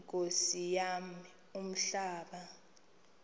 nkosi yam umhlaba